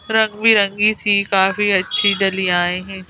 रंग बिरंगी थी काफी अच्छी डलियाएं हैं।